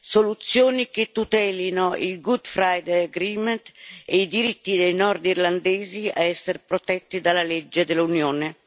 soluzioni che tutelino il Good Friday Agreement e i diritti dei nordirlandesi a essere protetti dalla legge dell'Unione.